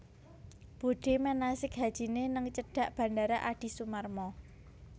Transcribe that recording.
Budhe manasik hajine ning cedhak Bandara Adi Sumarmo